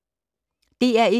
DR1